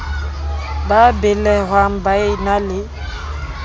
ba belehwang ba e na